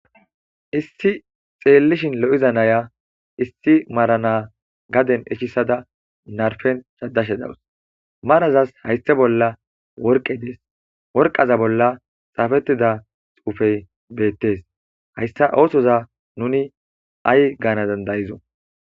issi xeellishin lo7iza naya issi marana gaden ichisada narfen cshadashe dawus marazas hayssa bolla worqe dees worqaza bolla xaafettida xuufey beettes hayssa oosoza nuni ay gaana dandayizo